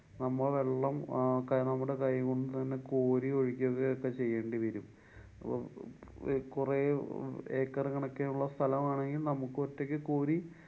നമ്മ വെള്ളം അഹ് കാ~ നമ്മടെ കൈകൊണ്ടു തന്നെ കോരി ഒഴിക്കൊക്കെ ചെയ്യേണ്ടി വരും. അപ്പൊ കൊറേ acre കണക്കിന് ഉള്ള സ്ഥലമാണെങ്കില്‍ നമുക്കൊറ്റക്ക് കോരി